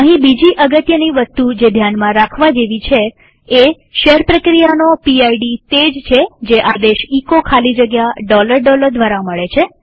અહીં બીજી અગત્યની વસ્તુ જે ધ્યાનમાં રાખવા જેવી એ છે કે શેલ પ્રક્રિયાનો પીડ તે જ છે જે આદેશ એચો ખાલી જગ્યા દ્વારા મળે છે